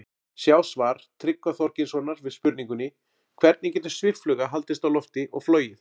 Sjá svar Tryggva Þorgeirssonar við spurningunni Hvernig getur sviffluga haldist á lofti og flogið?